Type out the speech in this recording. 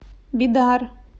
бидар